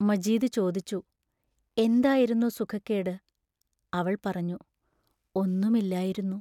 മജീദ് ചോദിച്ചു: എന്തായിരുന്നു സുഖക്കേട് അവൾ പറഞ്ഞു: ഒന്നും ഇല്ലായിരുന്നു.